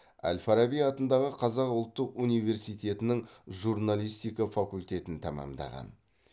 әл фараби атындағы қазақ ұлттық университетінің журналистика факультетін тәмамдаған